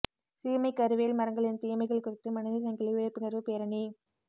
சீமைக்கருவேல் மரங்களின் தீமைகள் குறித்து மனித சங்கிலி விழிப்புணர்வு பேரணி